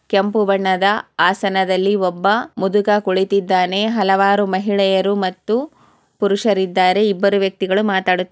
ಕೆಂಪು ಬಣ್ಣದ ಆಸನದಲ್ಲಿ ಒಬ್ಬ ಮುದುಕ ಕುಳಿತಿದ್ದಾನೆ. ಹಲವಾರು ಮಹಿಳೆಯರು ಮತ್ತು ಪುರುಷರೂ ಇದ್ದಾರೆ. ಇಬ್ಬರು ವ್ಯಕ್ತಿಗಳು ಮಾತಾಡು--